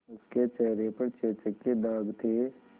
उसके चेहरे पर चेचक के दाग थे